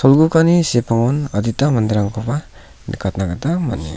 olgugani sepangon adita manderangkoba nikatna gita man·enga.